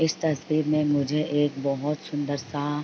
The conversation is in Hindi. इस तस्वीर में मुझे एक बोहोत सुन्दर-सा --